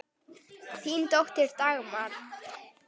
Þín dóttir, Dagmar.